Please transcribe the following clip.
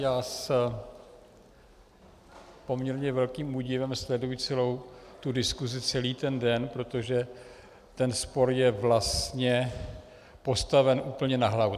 Já s poměrně velkým údivem sleduji celou tu diskusi celý ten den, protože ten spor je vlastně postaven úplně na hlavu.